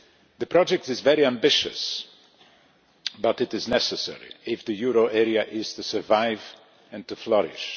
The project is very ambitious, but it is necessary if the euro area is to survive and to flourish.